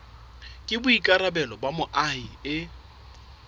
ke boikarabelo ba moahi e